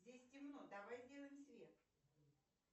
здесь темно давай сделаем свет